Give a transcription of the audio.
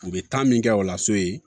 U bɛ taa min kɛ o la so ye